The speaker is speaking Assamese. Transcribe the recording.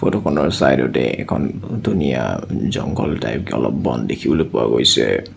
ফটোখনৰ চাইডতে এখন ধুনীয়া জংঘল টাইপকে অলপ বন দেখিবলৈ পোৱা গৈছে।